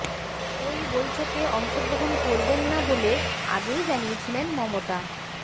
ওই বৈঠকে অংশগ্রহণ করবেন না বলে আগেই জানিয়েছিলেন মমতা